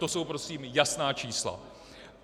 To jsou prosím jasná čísla.